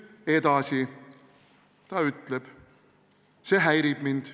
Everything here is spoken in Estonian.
Edasi ta ütleb: "Aga see häirib mind.